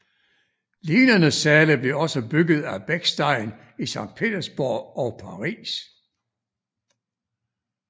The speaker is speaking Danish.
Lignende sale blev også bygget af Bechstein i Sankt Petersborg og Paris